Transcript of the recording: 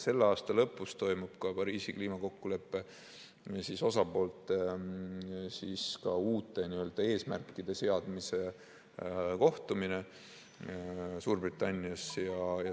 Selle aasta lõpus toimub ka Pariisi kliimakokkuleppe osapoolte uute eesmärkide seadmise kohtumine Suurbritannias.